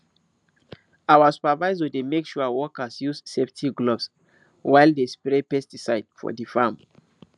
our supervisor dey make sure workers use safety gloves while dey spray pesticides for di farm